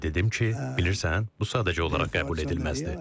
Mən də dedim ki, bilirsən, bu sadəcə olaraq qəbul edilməzdir.